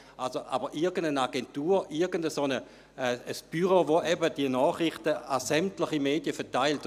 Irgendeine Agentur, irgendein Büro, welches die Nachrichten an sämtliche Medien verteilt …